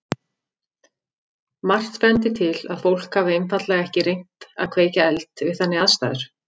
Margt bendir til að fólk hafi einfaldlega ekki reynt að kveikja eld við þannig aðstæður.